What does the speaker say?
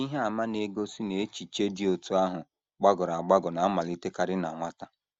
Ihe àmà na - egosi na echiche dị otú ahụ gbagọrọ agbagọ na - amalitekarị na nwata.